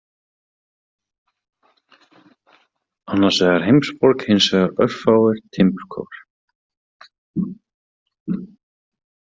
Annars vegar heimsborg, hins vegar örfáir timburkofar.